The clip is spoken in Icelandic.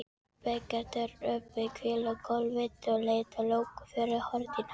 Gekk Þorgerður upp í hvílugólfið og lét loku fyrir hurðina.